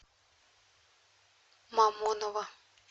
мамоново